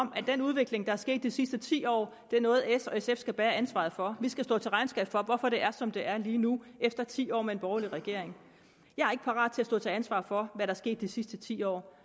om den udvikling der er sket de sidste ti år er noget s og sf skal bære ansvaret for vi skal stå til regnskab for hvorfor det er som det er lige nu efter ti år med en borgerlig regering jeg er ikke parat til at stå til ansvar for hvad der er sket de sidste ti år